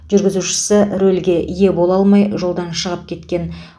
жүргізушісі рөлге ие бола алмай жолдан шығып кеткен